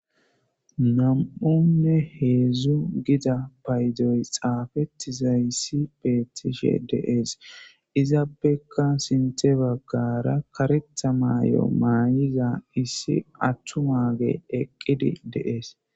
Nam7onne heedzdzu gida paydoy xaafettizayssi beetishe de'ees. izappekka sinthe baggara karetha maay7o maayiza issi atumaage eqqidi de'ees.